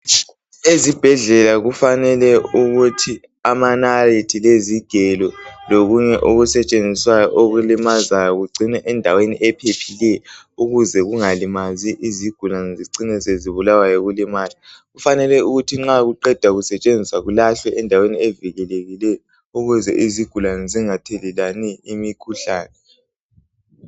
Ezibhedlela kufanele ukuthi amanalithi lezigelo lokunye okusetshenziswayo okulimazayo kugcinwe endaweni ephephileyo ukuze kungalimazi izigulane zicine sezibulawa yikulimala. Kufanele ukuthi nxa kuqeda kusetshenziswa kulahlwe endaweni evikelekileyo ukuze izigulane zingathelelani imikhuhlane.